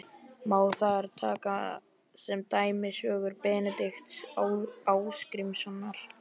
Má þar taka sem dæmi sögur Benedikts Ásgrímssonar